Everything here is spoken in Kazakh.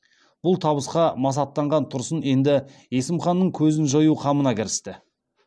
бұл табысқа масаттанған тұрсын енді есім ханның көзін жою қамына кірісті